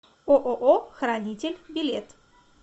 ооо хранитель билет